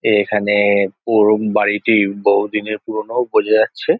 এইখানে-এ পুরোনো বাড়িটি বহুদিনের পুরোনো বোঝা যাচ্ছে।